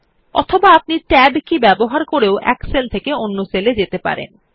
অথবা আপনি Tab key টিপে এক সেল থেকে অন্য সেল এ যেতে পারেন